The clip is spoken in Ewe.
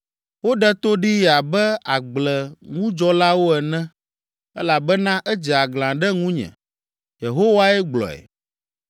Woɖe to ɖee abe agbleŋudzɔlawo ene elabena edze aglã ɖe ŋunye.’ ” Yehowae gblɔe.